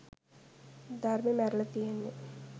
ධර්මෙ මැරිල තියෙන්නෙ